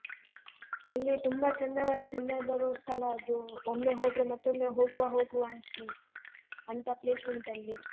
ಅಲ್ಲಿ ತುಂಬ ಚಂದ ಚಂದ ಬರುವ ಸ್ಥಳ ಅದು. ಒಮ್ಮೆ ಹೋದ್ರೆ ಮತ್ತೊಮ್ಮೆ ಹೋಗುವ ಹೋಗುವ ಅಂತೀವಿ ಅಂತ place ಉಂಟಲ್ಲಿ.